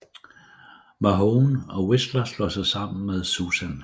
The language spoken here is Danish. Mahone og Whistler slår sig sammen med Susan